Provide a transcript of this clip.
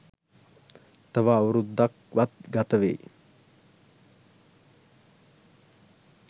තව අවුරුදු ක්වත් ගතවෙයි